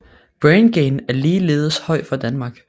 Brain gain er ligeledes høj for Danmark